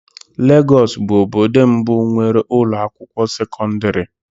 Lagos bụ obodo mbụ nwere ụlọ akwụkwọ sekọndrị.